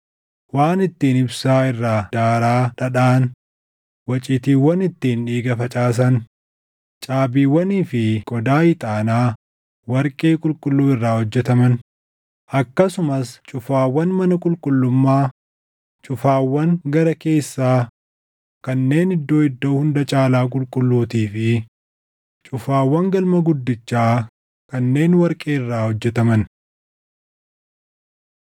waan ittiin ibsaa irraa daaraa dhadhaʼan, waciitiiwwan ittiin dhiiga facaasan, caabiiwwanii fi qodaa ixaanaa warqee qulqulluu irraa hojjetaman; akkasumas cufaawwan mana qulqullummaa cufaawwan gara keessaa kanneen Iddoo Iddoo Hunda Caalaa Qulqulluutii fi cufaawwan galma guddichaa kanneen warqee irraa hojjetaman.